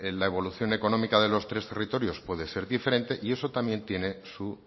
la evolución económica de los tres territorios puede ser diferente y eso también tiene su